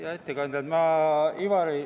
Hea ettekandja!